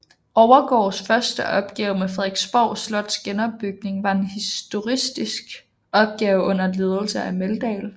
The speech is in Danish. Overgaards første opgave med Frederiksborg Slots genopbygning var en historicistisk opgave under ledelse af Meldahl